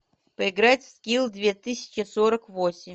поиграть в скил две тысячи сорок восемь